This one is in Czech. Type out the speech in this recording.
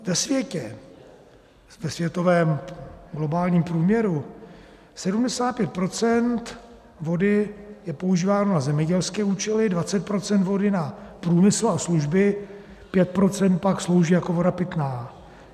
Ve světě, ve světovém globálním průměru, 75 % vody je používáno na zemědělské účely, 20 % vody na průmysl a služby, 5 % pak slouží jako voda pitná.